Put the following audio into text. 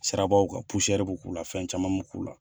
Sirabaw kan pusɛrɛri bɛ k'u kan , fɛn caman mu k'u la.